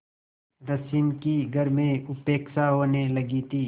रश्मि की घर में उपेक्षा होने लगी थी